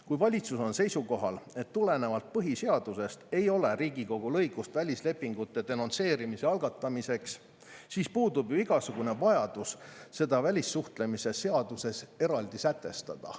Kui valitsus on seisukohal, et tulenevalt põhiseadusest ei ole Riigikogul õigust välislepingute denonsseerimise algatamiseks, siis puudub ju igasugune vajadus seda välissuhtlemisseaduses eraldi sätestada.